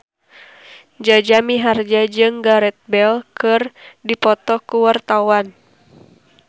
Jaja Mihardja jeung Gareth Bale keur dipoto ku wartawan